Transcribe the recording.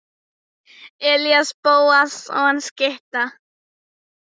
Elías Bóasson skytta.